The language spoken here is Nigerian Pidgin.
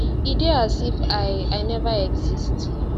e dey as if i i never exist